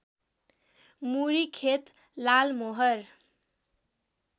मुरी खेत लालमोहर